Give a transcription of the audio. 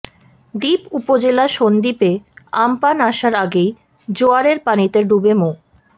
দ্বীপ উপজেলা সন্দ্বীপে আম্পান আসার আগেই জোয়ারের পানিতে ডুবে মো